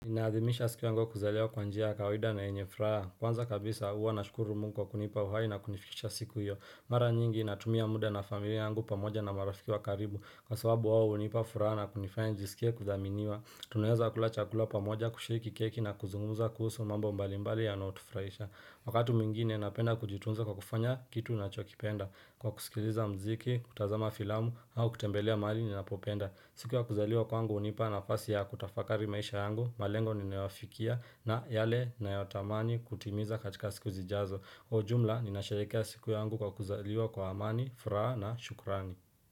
Inaadhimisha siku wango kuzaleo kwanjia kawida na enyefraa Kwanza kabisa uwa na shukuru mungu wa kunipa uhai na kunifikisha siku hiyo Mara nyingi natumia muda na familia yangu pamoja na marafiki wa karibu Kwa sababu wao hunipa furaha na kunifanya nijisikia kuthaminiwa. Tunaweza kula chakula pamoja kushiriki keki na kuzungumuza kuhusu mambo mbalimbali yanao tufurahisha Wakati mwingine napenda kujitunza kwa kufanya kitu nachokipenda Kwa kusikiliza mziki, kutazama filamu, au kutembelea mahali ninapopenda. Siku ya kuzaliwa kwangu hunipa nafasi ya kutafakari maisha yangu, malengo niyofikia na yale ni nayotamani kutimiza katika siku zijazo. Kwa ujumla, ninasharikia siku yangu ya kuzaliwa kwa amani, furaha na shukurani.